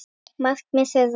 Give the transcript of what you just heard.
Markmið þeirra.